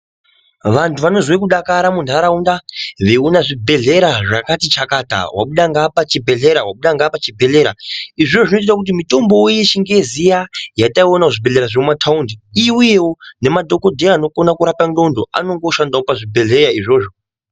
Vantu vanozwe kudakara munharaunda veiona zvibhedhlera zvakati chakata, wabuda ngeapa chibhehlera, wabuda ngeapa chibhehlera. Izvozvo zvinoite kuti mitombowo yechingezi iya yataiona kuzvibhehlera zvemumataundi iuyewo. Nemadhogodheya anokona kurape ndxondo anenge ooshandawo pazvibhehlera izvozvo.